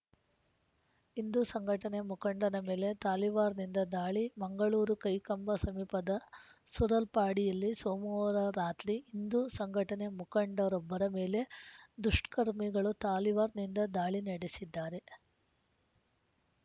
ಹಿಂದೂ ಸಂಘಟನೆ ಮುಖಂಡನ ಮೇಲೆ ತಲಿವಾರ್‌ನಿಂದ ದಾಳಿ ಮಂಗಳೂರು ಕೈಕಂಬ ಸಮೀಪದ ಸೂರಲ್ಪಾಡಿಯಲ್ಲಿ ಸೋಮವಾರ ರಾತ್ರಿ ಹಿಂದೂ ಸಂಘಟನೆ ಮುಖಂಡರೊಬ್ಬರ ಮೇಲೆ ದುಷ್ಕರ್ಮಿಗಳು ತಲಿವಾರ್‌ನಿಂದ ದಾಳಿ ನಡೆಸಿದ್ದಾರೆ